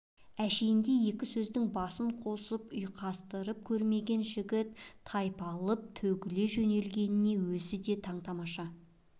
әншейінде екі сөздің басын қосып ұйқастырып көрмеген жігіт тайпалып төгіле жөнелгеніне өзі де таң-тамаша